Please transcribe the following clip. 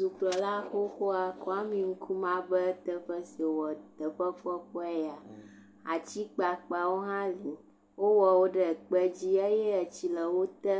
Dukplɔla xoxoa, Kwame Nkrumah ƒe teƒe si wowɔ. Teƒe kpɔkpɔe ya, ati kpakpawo hã li. Wowɔ wo ɖe kpe dzi eye tsi le wo te.